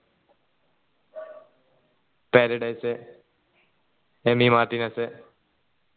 paradise Amy Martinez